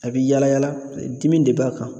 A bɛ yala yala dimi de b'a kan